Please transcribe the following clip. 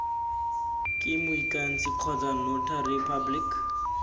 ke moikanisi kgotsa notary public